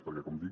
perquè com dic